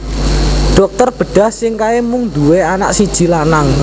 Dokter bedah sing kae mung nduwe anak siji lanang